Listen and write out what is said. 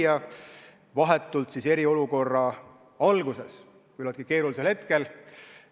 See oli vahetult eriolukorra alguses, küllaltki keerulisel hetkel.